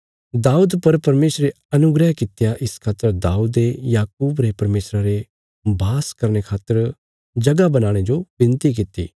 दाऊद पर परमेशरे अनुग्रह कित्या इस खातर दाऊदे याकूब रे परमेशरा रे वास करने खातर जगह बनाणे जो विनती कित्ती